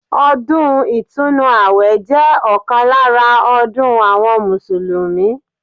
Ọdún ìtùnú àwẹ̀ jẹ́ ọ̀kan lára ọdún àwọn Mùsùlùmí